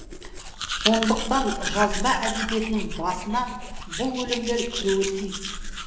сондықтан жазба әдебиетінің басына бұл өлеңдер кіруі тиіс